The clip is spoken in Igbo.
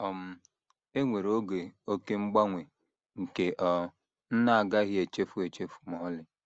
“ um E nwere oge oké mgbanwe nke um m na - agaghị echefu echefu ma ọlị.